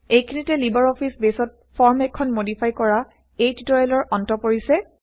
এইখিনিতে LibreOffice বেইছত form এখন160মডিফাই কৰা160এই টিউটৰিয়েলৰ অন্ত পৰিছে